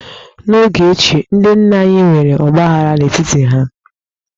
N'oge ochie, ndị nna anyị ha nwere ọgbaaghara n'etiti onwe ha.